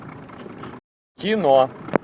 кино